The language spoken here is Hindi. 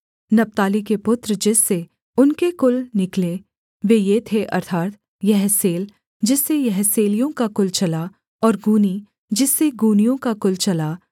नप्ताली के पुत्र जिससे उनके कुल निकले वे ये थे अर्थात् यहसेल जिससे यहसेलियों का कुल चला और गूनी जिससे गूनियों का कुल चला